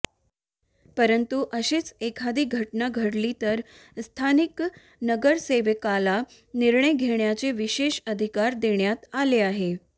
परंतु अशीच एखादी घटना घडली तर स्थानिक नगरसेवकाला निर्णय घेण्याचे विशेष अधिकार देण्यात आले आहे